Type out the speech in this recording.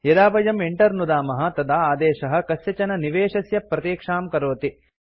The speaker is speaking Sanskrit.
यदा वयं enter नुदामः तदा आदेशः कस्यचन निवेशस्य प्रतीक्षां करोति